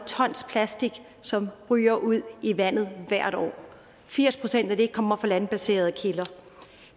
tons plastik som ryger ud i vandet hvert år firs procent af det kommer fra landbaserede kilder